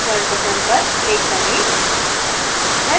insert button पर click करें